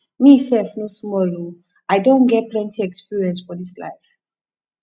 me sef no small o i don get plenty experiences for dis life